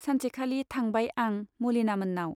सानसेखालि थांबाय आं मालिनामोन्नाव।